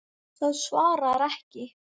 Það svarar ekki.